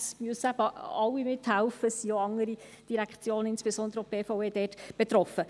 Es müssen eben alle mithelfen, denn auch andere Direktionen sind dort betroffen, insbesondere auch die BVE.